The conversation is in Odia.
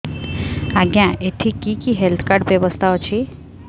ଆଜ୍ଞା ଏଠି କି କି ହେଲ୍ଥ କାର୍ଡ ବ୍ୟବସ୍ଥା ଅଛି